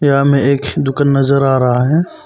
में एक दुकान नजर आ रहा है।